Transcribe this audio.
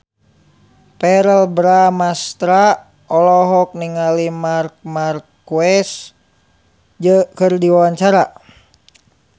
Verrell Bramastra olohok ningali Marc Marquez keur diwawancara